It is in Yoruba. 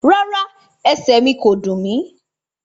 Rárá, ẹsẹ̀ mí ko dùn mí.